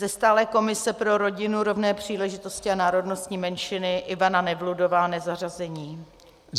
Ze stálé komise pro rodinu, rovné příležitosti a národnostní menšiny Ivana Nevludová, nezařazená.